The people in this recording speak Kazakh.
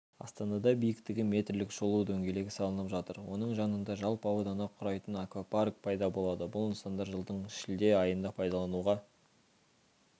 астанада биіктігі метрлік шолу дөңгелегі салынып жатыр оның жанында жалпы ауданы құрайтын аквапарк пайда болады бұл нысандар жылдың шілде айында пайдалануға